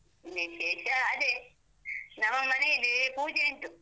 ವಿಶೇಷ ಅದೇ, ನಮ್ಮ ಮನೆಯಲ್ಲಿ ಪೂಜೆಯುಂಟು.